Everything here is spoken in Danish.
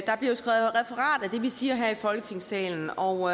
det vi siger her i folketingssalen og